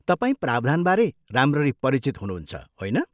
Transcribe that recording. तपाईँ प्रावधानबारे राम्ररी परिचित हुनुहुन्छ, होइन?